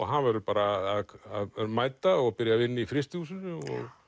hann verður bara að mæta og byrja að vinna í frystihúsinu